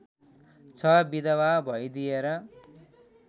छ विधवा भइदिएर